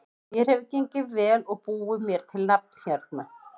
Mér hefur gengið vel og búið mér til nafn hérna.